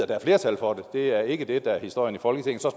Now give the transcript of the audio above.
der er flertal for det det er ikke det der er historien i folketinget